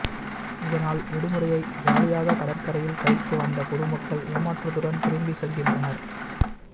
இதனால் விடுமுறையை ஜாலியாக கடற்கரையில் கழிக்க வந்த பொது மக்கள் ஏமாற்றத்துடன் திரும்பி செல்கின்றனர்